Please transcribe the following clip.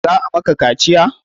Za a maka kaciya?